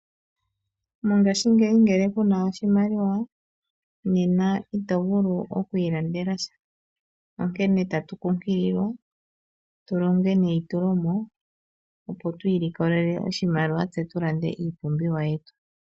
Mongaashingeyi ngele kuna oshimaliwa nena ito vulu oku ilandela sha, onkene tatu kunkililwa tu longe neitulomo, opo tu ilikolele oshimaliwa, tse tu lande iipumbiwa yetu.